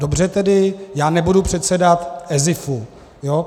Dobře tedy, já nebudu předsedat ESIFu.